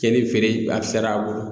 Cɛnnin feere a fisayara a bolo